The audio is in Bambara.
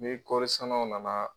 Ni kɔɔri sannaw nana